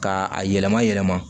Ka a yɛlɛma yɛlɛma